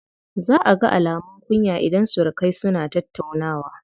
Za a ga alumun kunya idan surukai suna tattaunawa.